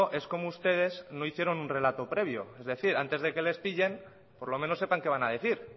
es como ustedes no hicieron un relato previo es decir antes de que les pillen por lo menos sepan qué van a decir